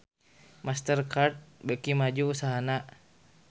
Master Card beuki maju usahana